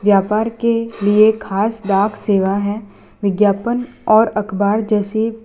व्यापार के लिए खास डाक सेवा है विज्ञापन और अखबार जैसे --